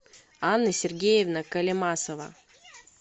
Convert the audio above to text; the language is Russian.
анна сергеевна колемасова